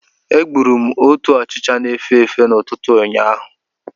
Agburu m otu ọchịcha na-efe efe n'ụtụtụ ụnyaahụ.